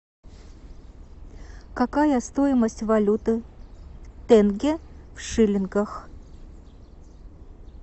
какая стоимость валюты тенге в шиллингах